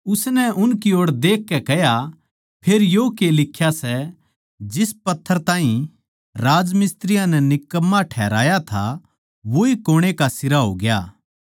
उसनै उनकी ओड़ देखकै कह्या फेर यो के लिख्या सै जिस पत्थर नै राजमिस्त्रियाँ नै निकम्मा ठहराया था वोए कुणै का सिरा होग्या